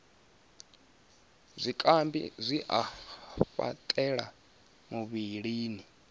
zwikambi zwi a fhaṱela muvhilini